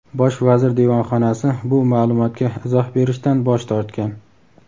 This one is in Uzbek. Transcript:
Bosh vazir devonxonasi bu ma’lumotga izoh berishdan bosh tortgan.